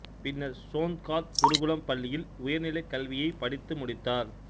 பின்னர் சோந்காத் குருகுலம் பள்ளியில் உயர்நிலைக் கல்வியை படித்து முடித்தார்